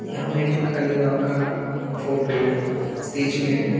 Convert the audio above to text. यहां में एक ठो काली मां का फोटो स्टैचू है।